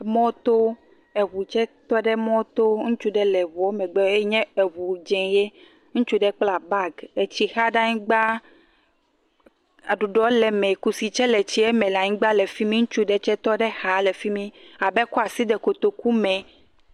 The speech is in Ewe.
Mɔ to eʋu tsɛ to ɖe mɔ to ŋutsu ɖe lɛ eʋu megbɛ nye eʋu dzi ye ŋutsu ɖe kpla bagi eye tsi xa ɖe anyigba aɖuɖɔ le emɛ kusi nye le etsiɛ me le anyigba le fimí ŋutsu aɖe nyɛ tɔ ɖe exa le fimí abe ekɔa asi de kotoku mɛ